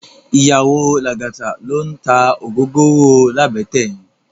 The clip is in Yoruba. Iyàwó Lagata ló n tá ógógóró làbètè yèn